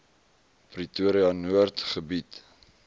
pretoria noord gebied